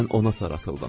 Mən ona sarıldım.